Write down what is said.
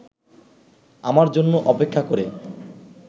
আমার জন্য অপেক্ষা করে